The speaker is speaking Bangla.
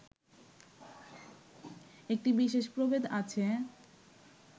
একটি বিশেষ প্রভেদ আছে